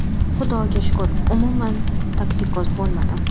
Xudoga shukur, umuman toksikoz bo‘lmadim.